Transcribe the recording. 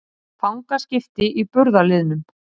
Fangaskipti í burðarliðnum